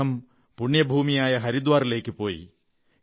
അദ്ദേഹം പുണ്യഭൂമിയായ ഹരിദ്വാറിലേക്കു പോയി